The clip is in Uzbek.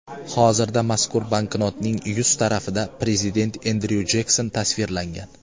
Hozirda mazkur banknotning yuz tarafida prezident Endryu Jekson tasvirlangan.